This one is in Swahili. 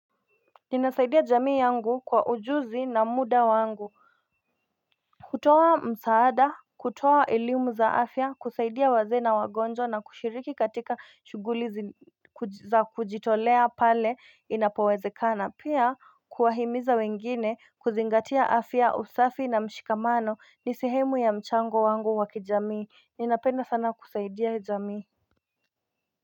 Ninasaidia jamii yangu kwa ujuzi na muda wangu kutoa msaada kutoa elimu za afya kusaidia wazee na wagonjwa na kushiriki katika shughuli za kujitolea pale inapowezekana pia kuwahimiza wengine kuzingatia afya usafi na mshikamano ni sehemu ya mchango wangu wa kijamii. Ninapenda sana kusaidia jamii.